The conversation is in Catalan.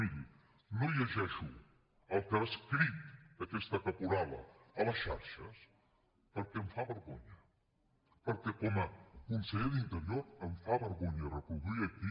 miri no llegeixo el que ha escrit aquesta caporala a les xarxes perquè em fa vergonya perquè com a conseller d’interior em fa vergonya reproduir ho aquí